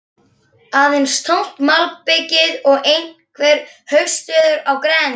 Aðeins tómt malbikið og einhver haustveður í grennd.